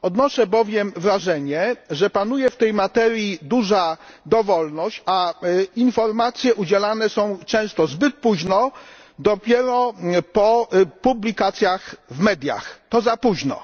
Odnoszę bowiem wrażenie, że panuje w tej materii duża dowolność, a informacje udzielane są często zbyt późno, dopiero po publikacjach w mediach to za późno.